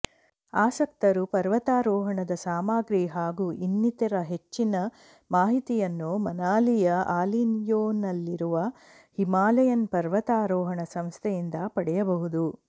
ಆಸಕ್ತರು ಪರ್ವತಾರೋಹಣದ ಸಾಮಾಗ್ರಿ ಹಾಗು ಇನ್ನಿತರ ಹೆಚ್ಚಿನ ಮಾಹಿತಿಯನ್ನು ಮನಾಲಿಯ ಅಲಿಯೊನಲ್ಲಿರುವ ಹಿಮಾಲಯನ್ ಪರ್ವತಾರೋಹಣ ಸಂಸ್ಥೆಯಿಂದ ಪಡೆಯಬಹುದು